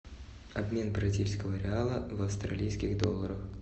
обмен бразильского реала в австралийских долларах